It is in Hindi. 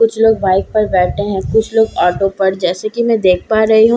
कुछ लोग बाइक पर बैठे हैं कुछ लोग ऑटो पर जैसे की मैं देख पा रही हूँ --